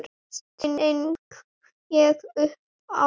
sting ég upp á.